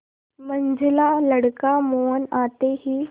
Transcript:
मंझला लड़का मोहन आते ही